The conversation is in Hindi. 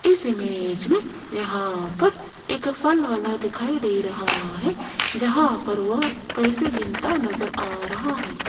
इस इमेज में यहां पर एक फल वाला दिखाई दे रहा है जहां पर वह पैसे गिनता नजर आ रहा है।